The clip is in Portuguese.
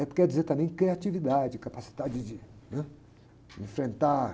É porque quer dizer também criatividade, capacidade de, né? Enfrentar.